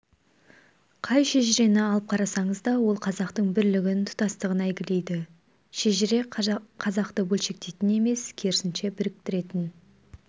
қай шежірені алып қарасаңыз да ол қазақтың бірлігін тұтастығын әйгілейді шежіре қазақты бөлшектейтін емес керісінше біріктіретін